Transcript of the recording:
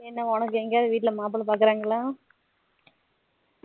என்ன உனக்கு எங்கயாவது வீட்டுல மாப்பிள்ளை பாக்குரங்களா